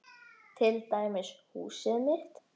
Til dæmis húsið mitt.